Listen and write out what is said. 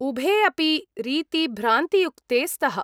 उभे अपि रीती भ्रान्तियुक्ते स्तः।